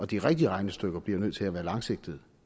de rigtige regnestykker bliver jo nødt til at være langsigtede